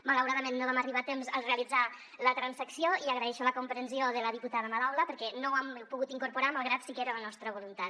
malauradament no vam arribar a temps a realitzar la transacció i agraeixo la comprensió de la diputada madaula perquè no ho hem pogut incorporar malgrat que sí que era la nostra voluntat